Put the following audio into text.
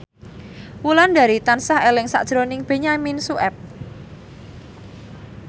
Wulandari tansah eling sakjroning Benyamin Sueb